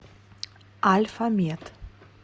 альфамед